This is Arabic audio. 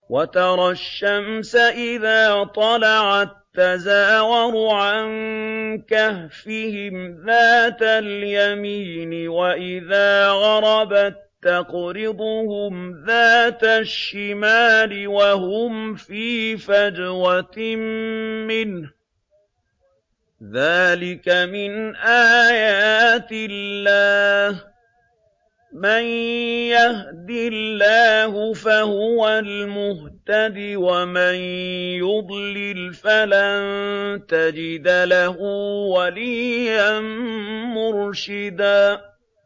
۞ وَتَرَى الشَّمْسَ إِذَا طَلَعَت تَّزَاوَرُ عَن كَهْفِهِمْ ذَاتَ الْيَمِينِ وَإِذَا غَرَبَت تَّقْرِضُهُمْ ذَاتَ الشِّمَالِ وَهُمْ فِي فَجْوَةٍ مِّنْهُ ۚ ذَٰلِكَ مِنْ آيَاتِ اللَّهِ ۗ مَن يَهْدِ اللَّهُ فَهُوَ الْمُهْتَدِ ۖ وَمَن يُضْلِلْ فَلَن تَجِدَ لَهُ وَلِيًّا مُّرْشِدًا